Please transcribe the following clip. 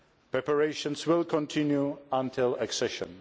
Preparations will continue until accession.